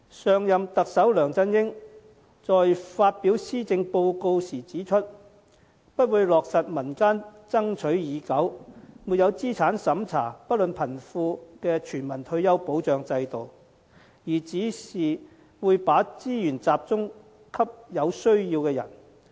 上任特首梁振英在發表施政報告時指出不會落實民間爭取已久、沒有資產審查、不論貧富的全民退休保障制度，而只會把資源集中給有需要的人。